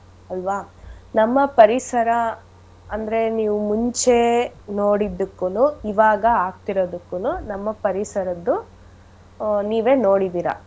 ಅಲ್ವಾ ನಮ್ಮ ಪರಿಸರ ಅಂದ್ರೆ ನೀವು ಮುಂಚೆ ನೋಡಿದ್ದಕ್ಕೂನೂ ಈವಾಗ ಆಗ್ತಿರದಕ್ಕೂನೂ ನಮ್ಮ ಪರಿಸರದ್ದು ಅಹ್ ನೀವೇ ನೋಡಿದಿರ.